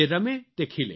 the person who plays